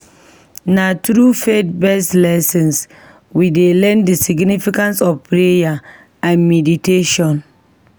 Na through faith-based lessons, we dey learn the significance of prayer and meditation